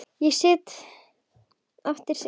Ég sit aftast.